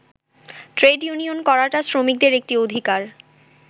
Trade union করাটা শ্রমিকদের একটি অধিকার।